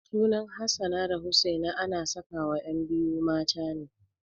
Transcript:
Sunan Hassana da Husaina ana sakawa ƴan biyu mata ne.